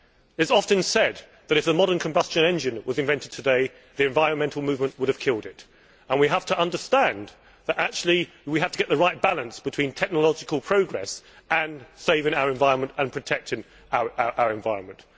It is often said that if the modern combustion engine was invented today the environmental movement would have killed it and we have to understand that we have to get the right balance between technological progress and saving our environment and protecting our environment.